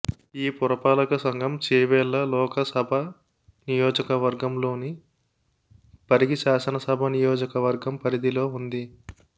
ఈ పురపాలక సంఘం చేవెళ్ళ లోకసభ నియోజకవర్గం లోని పరిగి శాసనసభ నియోజకవర్గం పరిధిలో ఉంది